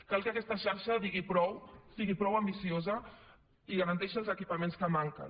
cal que aquesta xarxa sigui prou ambiciosa i garanteixi els equipaments que manquen